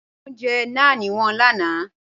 Níjẹ̀ o jẹ́ náàń wọn lànà?